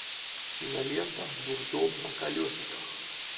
кинолента дурдом на колесиках